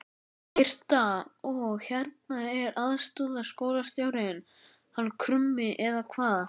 Birta: Og hérna er aðstoðarskólastjórinn hann Krummi eða hvað?